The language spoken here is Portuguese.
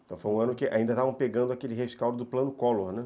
Então foi um ano que ainda estavam pegando aquele rescaldo do plano Collor, né?